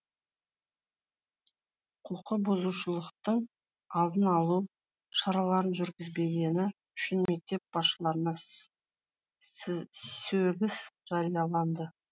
құқықбұзушылықтың алдын алу шараларын жүргізбегені үшін мектеп басшыларына сөгіс жарияланды